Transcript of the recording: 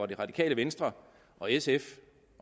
det radikale venstre og sf